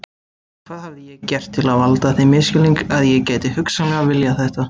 Hvað hafði ég gert til að valda þeim misskilningi að ég gæti hugsanlega viljað þetta?